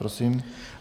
Prosím.